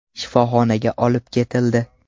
Shifoxonaga olib ketildi.